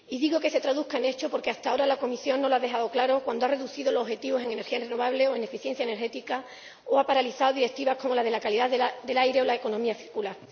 Y digo que se traduzca en hechos porque hasta ahora la Comisión no lo ha dejado claro cuando ha reducido los objetivos en energías renovables o en eficiencia energética o ha paralizado Directivas como la de la calidad del aire o la economía circular.